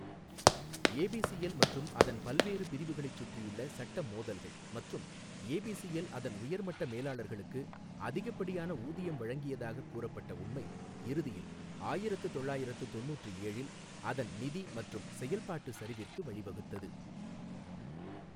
ABCL மற்றும் அதன் பல்வேறு பிரிவுகளைச் சுற்றியுள்ள சட்ட மோதல்கள் மற்றும் ஏபிசிஎல் அதன் உயர்மட்ட மேலாளர்களுக்கு அதிகப்படியான ஊதியம் வழங்கியதாக கூறப்பட்ட உண்மை, இறுதியில் ஆயிரத்து தொள்ளாயிரத்து தொண்ணுற்று ஏழில் அதன் நிதி மற்றும் செயல்பாட்டு சரிவிற்கு வழிவகுத்தது.